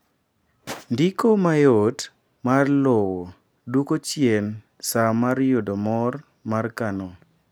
ndiko mayot mar lowo dwoko chien saa mar yudo mor mar kano